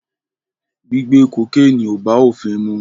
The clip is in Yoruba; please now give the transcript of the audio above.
Gbigbe kokéènì ò bá ofin mu.